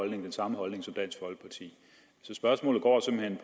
den samme holdning som dansk folkeparti så spørgsmålet går simpelt